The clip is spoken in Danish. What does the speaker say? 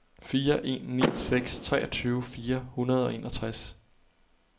fire en ni seks treogtyve fire hundrede og enogtres